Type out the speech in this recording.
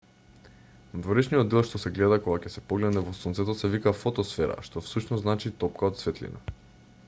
надворешниот дел што се гледа кога ќе се погледне во сонцето се вика фотосфера што всушност значи топка од светлина